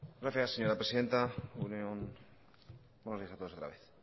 gracias señora presidenta egun on buenos días a todos otra vez